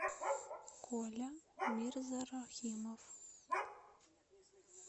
коля мирзарахимов